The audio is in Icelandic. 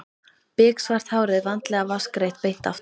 Biksvart hárið vandlega vatnsgreitt beint aftur.